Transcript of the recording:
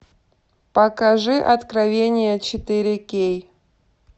покажи откровение четыре кей